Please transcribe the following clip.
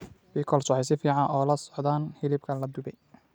Pickles waxay si fiican ula socdaan hilibka la dubay.